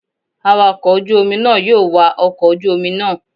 Awakọ̀ ojú omi náà yóò wa ọkọ̀ ojú omi náà.